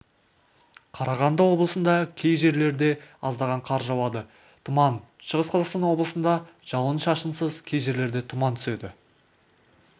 қарағанды облысында кей жерлерде аздаған қар жауады тұман шығыс қазақстан облысында жауын-шашынсыз кей жерлерде тұман түседі